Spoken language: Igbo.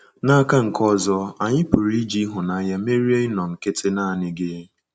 N’aka nke ọzọ, anyị pụrụ iji ịhụnanya merie ịnọ nkịtị naanị gị.